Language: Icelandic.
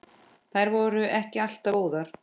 Þær voru ekki alltaf góðar.